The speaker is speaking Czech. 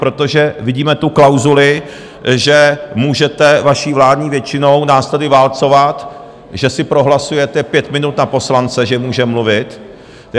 Protože vidíme tu klauzuli, že můžete vaší vládní většinou nás tady válcovat, že si prohlasujete pět minut na poslance, že může mluvit.